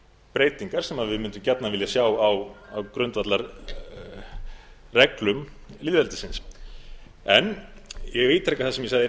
breytingar sem við mundum gjarnan vilja sjá á grundvallarreglum lýðveldisins ég ítreka það sem ég sagði í